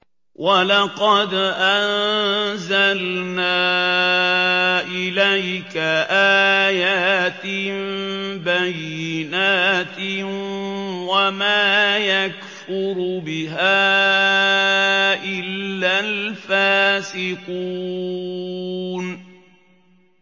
وَلَقَدْ أَنزَلْنَا إِلَيْكَ آيَاتٍ بَيِّنَاتٍ ۖ وَمَا يَكْفُرُ بِهَا إِلَّا الْفَاسِقُونَ